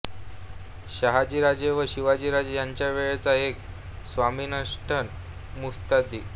शहाजीराजे व शिवाजीराजे यांच्या वेळचा एक स्वामिनिषठ मुत्सद्दी